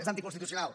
és anticonstitucional